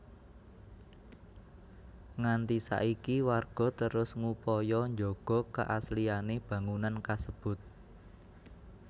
Nganti saiki warga terus ngupaya njaga keasliané bangunan kasebut